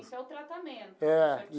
Isso é o tratamento. É.